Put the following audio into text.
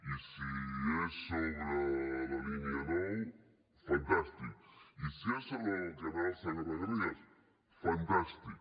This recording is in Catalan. i si és sobre la línia nou fantàstic i si és sobre el canal segarra garrigues fantàstic